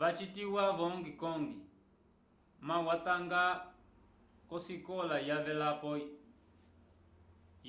wacitiwa vo hong kong ma watanga k'osikola yavelapo